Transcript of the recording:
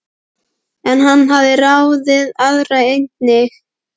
En hann hafði ráðið aðra einnig.